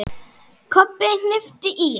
Kobbi hnippti í